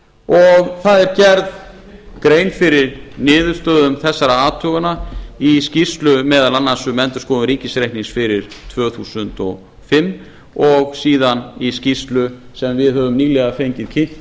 varið það er gerð grein fyrir niðurstöðum þessara athugana í skýrslum meðal annars um endurskoðun ríkisreiknings fyrir tvö þúsund og fimm og síðan í skýrslu sem við höfum nýlega fengið kynnt